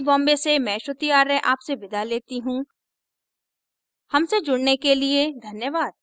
I I T Bombay से मैं श्रुति आर्य आपसे विदा लेती हूँ हमसे जुड़ने के लिए धन्यवाद